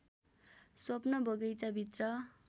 स्वप्न बगैंचाभित्र